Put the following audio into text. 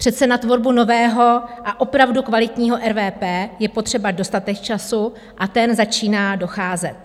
Přece na tvorbu nového a opravdu kvalitního RVP je potřeba dostatek času a ten začíná docházet.